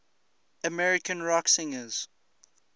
american rock singers